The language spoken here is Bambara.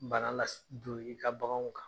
Bana lase don i ka bagan kan.